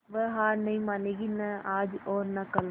वह हार नहीं मानेगी न आज और न कल